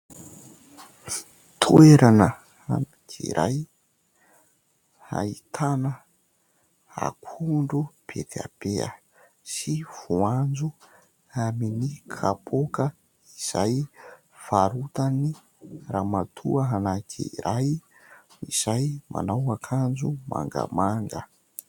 Toerana anankiray ahitàna akondro be dia be sy voanjo amin'ny kapoaka izay varotan'ny ramatoa anankiray izay manao akanjo mangamanga.